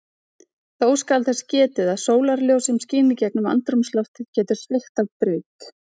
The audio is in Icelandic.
Þó skal þess getið að sólarljós sem skín í gegnum andrúmsloftið getur sveigt af braut.